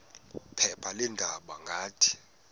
phepha leendaba ngathi